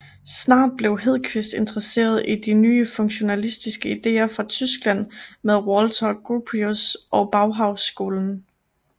Snart blev Hedqvist interesseret i de nye funktionalistiske idéer fra Tyskland med Walter Gropius og Bauhausskolen